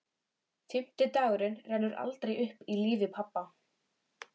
Fimmti dagurinn rennur aldrei aftur upp í lífi pabba.